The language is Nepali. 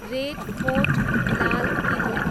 red fort, Lal Killa